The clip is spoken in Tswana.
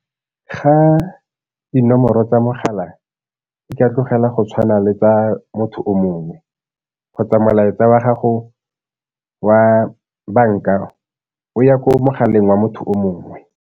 Ga dinomoro tsa mogala di ka tlogela go tshwana le tsa motho o mongwe kgotsa molaetsa wa gago wa banka o ya ko mogaleng wa motho o mongwe.